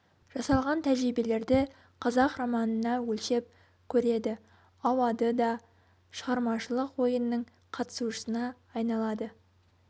жасалған тәжірибелерді қазақ романына өлшеп көреді ауады да шығармашылық ойынның қатысушысына айналады